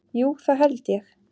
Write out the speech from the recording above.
Jú það held ég.